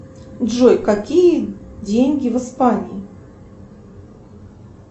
джой какие деньги в испании